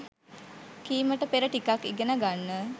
කීමට පෙර ටිකක් ඉගෙන ගන්න.